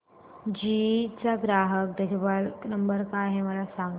GE चा ग्राहक देखभाल नंबर काय आहे मला सांग